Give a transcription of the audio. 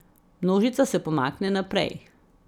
Množica se pomakne naprej.